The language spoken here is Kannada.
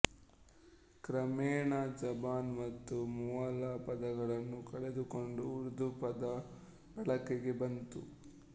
ಕ್ರಮೇಣ ಜಬಾನ್ ಮತ್ತು ಮುಅಲ್ಲ ಪದಗಳನ್ನು ಕಳೆದುಕೊಂಡು ಉರ್ದು ಪದ ಬಳಕೆಗೆ ಬಂತು